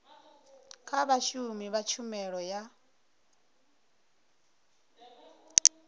kha vhashumi vha tshumelo ya